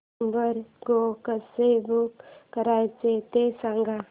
Uber go कसं book करायचं ते सांग